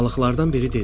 Balıqlardan biri dedi: